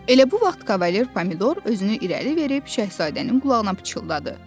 Elə bu vaxt Kavalye Pomidor özünü irəli verib Şahzadənin qulağına pıçıldadı.